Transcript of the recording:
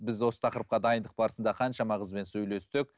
біз осы тақырыпқа дайындық барысында қаншама қызбен сөйлестік